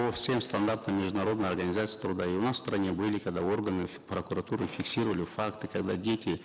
по всем стандартам международной организации труда и у нас в стране были когда органы в прокуратуру фиксировали факты когда дети